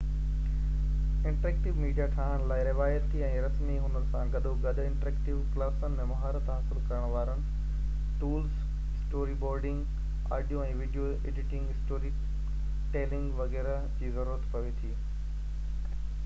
interactive media ٺاهڻ لاءِ روايتي ۽ رسمي هنر سان گڏوگڏ انٽرايڪٽو ڪلاسن ۾ مهارت حاصل ڪرڻ وارن tools story boarding, audio ۽ video editing, story telling وغيره جي ضرورت پوي ٿي